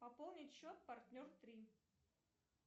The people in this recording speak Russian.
пополнить счет партнер три